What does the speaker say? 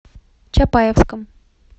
чапаевском